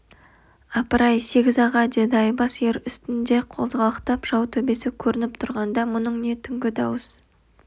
апыр-ай сегіз аға деді айбас ер үстінде қозғалақтап жау төбесі көрініп тұрғанда мұның не түнгі дауыс